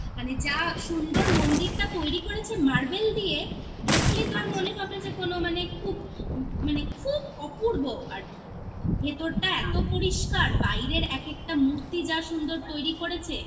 মানে যা সুন্দর মন্দিরটা তৈরি করেছে মার্বেল দিয়ে আচ্ছা দেখলে তো আর মনে হবে যে কোন মানে খুব মানে খুব অপূর্ব আর কি ভেতরটা এতো পরিষ্কার বাইরের এক একটা মূর্তি যা সুন্দর তৈরি করেছে